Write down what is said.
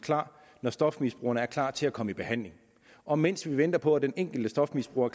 klar når stofmisbrugerne er klar til at komme i behandling og mens vi venter på at den enkelte stofmisbruger